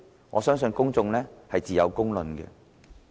我相信自有公論。